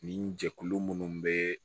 Nin jɛkulu munnu be